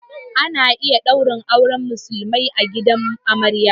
Ana iya ɗaurin auren musulmai a gidan amarya